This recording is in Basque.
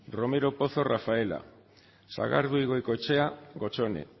romero pozo rafaela sagardui goikoetxea gotzone